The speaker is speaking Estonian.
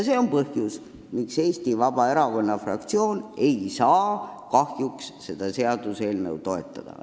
See on põhjus, miks Eesti Vabaerakonna fraktsioon ei saa seda seaduseelnõu kahjuks toetada.